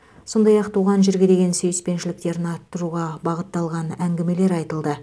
сондай ақ туған жерге деген сүйіспеншіліктерін арттыруға бағытталған әңгімелер айтылды